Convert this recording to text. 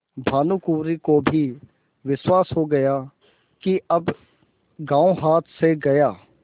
भानुकुँवरि को भी विश्वास हो गया कि अब गॉँव हाथ से गया